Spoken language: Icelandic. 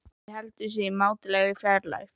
Doddi heldur sig í mátulegri fjarlægð.